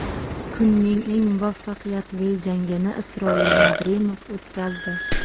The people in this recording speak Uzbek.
Kunning eng muvaffaqiyatli jangini Isroil Madrimov o‘tkazdi.